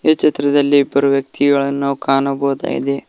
ಈ ಚಿತ್ರದಲ್ಲಿ ಇಬ್ಬರು ವ್ಯಕ್ತಿಗಳನ್ನು ನಾವು ಕಾಣಬಹುದಾಗಿದೆ.